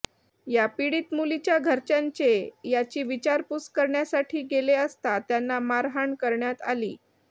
या पीडित मुलीच्या घरच्यांचे याची विचारपूस करण्यासाठी गेले असता त्यांना मारहाण करण्यात आली